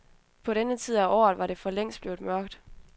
På denne tid af året var det for længst blevet mørkt.